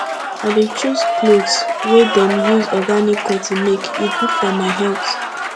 i dey choose clothes wey dem use organic cotton make e good for my health